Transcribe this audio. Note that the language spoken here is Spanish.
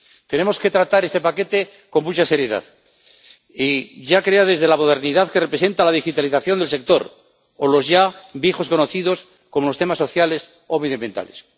Tenemos que tratar este paquete con mucha seriedad, ya sea desde la modernidad que representa la digitalización del sector o desde los ya viejos conocidos, como los temas sociales o medioambientales.